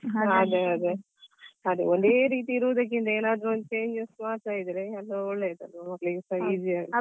ಅದೇ ಅದೇ ಒಂದೇ ರೀತಿ ಇರುವುದಕ್ಕಿಂತ ಏನಾದ್ರು ವಿಶ್ವಾಸ ಇದ್ರೆ ಎಲ್ಲ ಒಳ್ಳೆಯದಲ್ಲ ಮಕ್ಕಳಿಗೆಸ easy ಆಗತ್ತೆ.